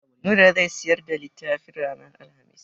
Nura zai siyar da littafin ranar Alhamis.